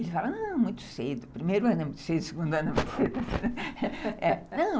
Ele falou, muito cedo, primeiro ano é muito cedo, segundo ano é muito cedo